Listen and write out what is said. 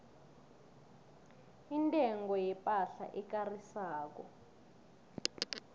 intengo yepahla ekarisako